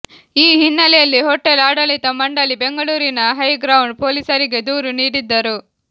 ಈ ಹಿನ್ನೆಲೆಯಲ್ಲಿ ಹೋಟೆಲ್ ಆಡಳಿತ ಮಂಡಳಿ ಬೆಂಗಳೂರಿನ ಹೈ ಗ್ರೌಂಡ್ ಪೊಲೀಸರಿಗೆ ದೂರು ನೀಡಿದ್ದರು